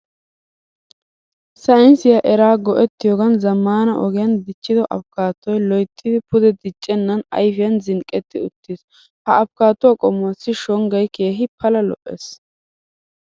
Saynnisiya eraa go'ettiyoogan zammaana ogiyan dichchido Afikattoy loyttidi pude diccennan ayfiyan zinqqetti uttiis. Ha Afikattuwa qommuwassi shonggay keehi pala lo'ees